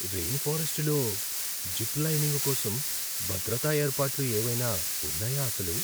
Rain ఫారెస్టులో zip lining కోసం భద్రతా ఏర్పాట్లు ఏవైనా ఉన్నాయా అసలు?